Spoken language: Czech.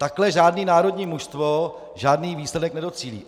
Takto žádné národní mužstvo žádný výsledek nedocílí.